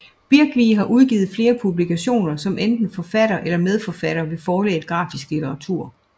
Birkvig har udgivet flere publikationer som enten forfatter eller medforfatter ved Forlaget Grafisk Litteratur